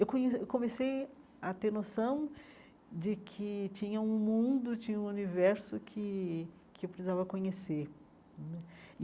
Eu conhe comecei a ter noção de que tinha um mundo, tinha um universo que que eu precisava conhecer né.